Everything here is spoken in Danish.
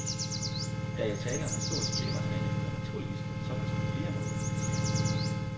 Der er jo tale om historisk kildemateriale, der naturligvis kan fortolkes på flere måder, siger han.